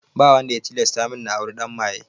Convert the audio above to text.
Ba wanda ya tilasta min na auri ɗan maye